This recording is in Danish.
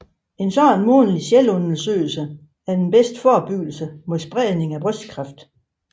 En sådan månedlig selvundersøgelse er den bedste forebyggelse mod spredning af brystkræft